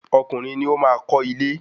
Ọkùnrin ni o maá kọ ile